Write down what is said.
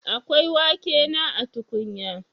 Akwa wake na a tukunya?